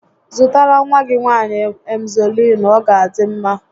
Zụtara nwa gị nwaanyị Emzọliinu, ọ ga adị mma